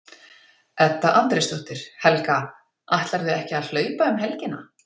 Edda Andrésdóttir: Helga, ætlarðu ekki að hlaupa um helgina?